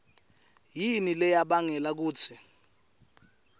yini leyabangela kutsi